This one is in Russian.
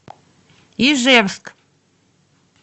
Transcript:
ижевск